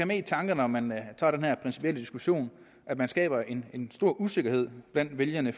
med i tankerne når man tager den her principielle diskussion at man skaber en en stor usikkerhed blandt vælgerne